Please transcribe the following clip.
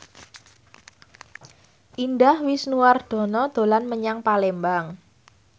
Indah Wisnuwardana dolan menyang Palembang